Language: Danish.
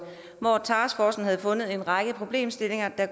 taskforcen havde fundet en række problemstillinger